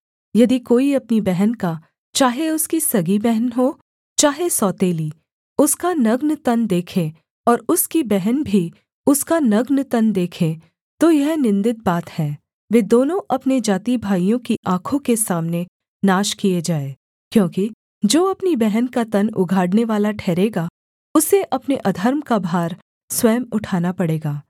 यदि कोई अपनी बहन का चाहे उसकी सगी बहन हो चाहे सौतेली उसका नग्‍न तन देखे और उसकी बहन भी उसका नग्‍न तन देखे तो यह निन्दित बात है वे दोनों अपने जातिभाइयों की आँखों के सामने नाश किए जाएँ क्योंकि जो अपनी बहन का तन उघाड़नेवाला ठहरेगा उसे अपने अधर्म का भार स्वयं उठाना पड़ेगा